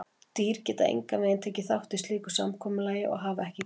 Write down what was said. Dýr geta engan veginn tekið þátt í slíku samkomulagi og hafa ekki gert það.